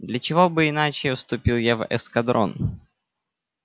для чего бы иначе вступил я в эскадрон